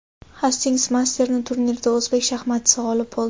Hastings Masters turnirida o‘zbek shaxmatchisi g‘olib bo‘ldi.